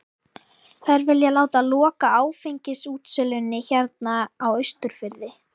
Þær vilja láta loka áfengisútsölunni hérna á Austurfirði!